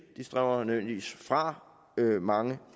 de strømmer nødvendigvis fra mange